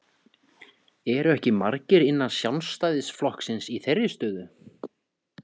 Eru ekki margir innan Sjálfstæðisflokksins í þeirri stöðu?